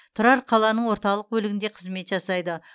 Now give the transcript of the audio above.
тұрар қаланың орталық бөлігінде қызмет жасайды